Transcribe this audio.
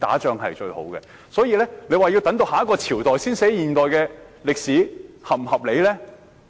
因此，若說要等到下一個朝代才撰寫現今世代的歷史，這合理嗎？